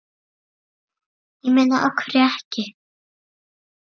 Ég meina af hverju ekki?